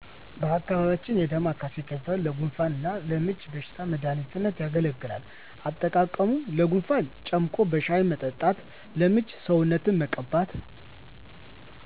በአካባቢያችን የዳማካሲ ቅጠል ለጉንፋን እና ለምች በሽታ መድሃኒትነት ያገለግላል። አጠቃቀሙ ለጉንፋን ጨምቆ በሻሂ መጠጣት ለምች ሰውነትን መቀባት